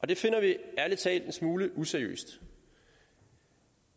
det finder vi ærlig talt en smule useriøst